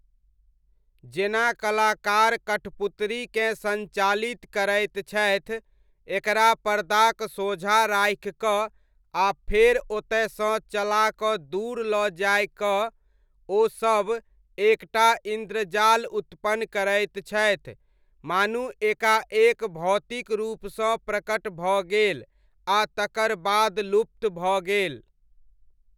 जेना कलाकार कठपुतरीकेँ सञ्चालित करैत छथि, एकरा पर्दाक सोझाँ राखिकऽ आ फेर ओतयसँ चलाकऽ दूर लऽ जाय कऽ, ओ सब एक टा इन्द्रजाल उत्पन्न करैत छथि मानू एकाएक भौतिक रूपसँ प्रकट भऽ गेल आ तकर बाद लुप्त भऽ गेल।